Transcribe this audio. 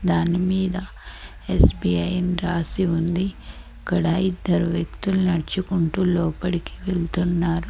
దానిమీద ఎస్_బి_ఐ అని రాసి ఉంది ఇక్కడ ఇద్దరు వ్యక్తులు నడుచుకుంటూ లోపడికి వెళ్తున్నారు.